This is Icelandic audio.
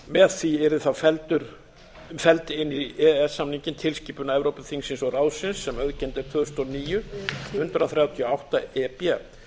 með því yrði þá felld inn í e e s samninginn tilskipun evrópuþingsins og ráðsins sem auðkennd er tvö þúsund og níu hundrað þrjátíu og átta e b